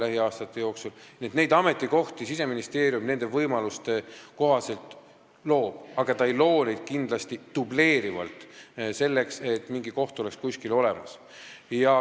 Nii et selliseid ametikohti Siseministeerium oma võimaluste kohaselt loob, aga ta ei loo neid kindlasti dubleerivalt, lihtsalt selleks, et mingi koht oleks kuskil olemas.